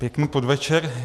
Pěkný podvečer.